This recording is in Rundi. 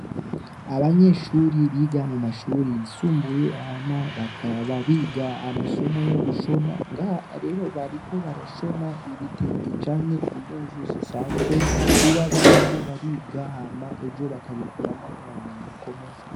Abanyeshure biga mu mashure yisumbuye hama bakaba biga amasomo yo gushona ngaha rero bariko barashona ibitenge canke impuzu zisanzwe kuba bariko bariga hama ejo bakabikurramwo ubumenyi bukomeye.